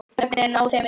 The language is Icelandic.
Nöfnin á þeim eru